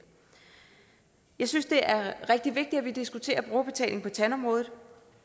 jeg synes det er rigtig vigtigt at vi diskuterer brugerbetaling på tandområdet